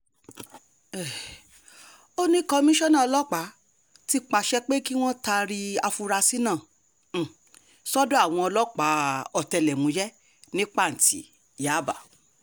um ó ní kọmíṣánná ọlọ́pàá ti pàṣẹ pé kí wọ́n taari àfurasí náà um sọ́dọ̀ àwọn ọlọ́pàá ọ̀tẹlẹ̀múyẹ́ ní pàǹtí yaba